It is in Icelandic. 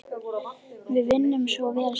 Við vinnum svo vel saman.